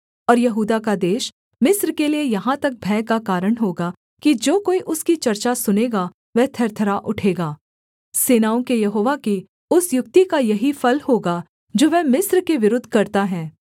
ओर यहूदा का देश मिस्र के लिये यहाँ तक भय का कारण होगा कि जो कोई उसकी चर्चा सुनेगा वह थरथरा उठेगा सेनाओं के यहोवा की उस युक्ति का यही फल होगा जो वह मिस्र के विरुद्ध करता है